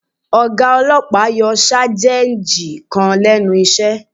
Ọ̀gá ọlọ́pàá yọ Sájẹ́ǹjì kan lẹ́nu iṣẹ́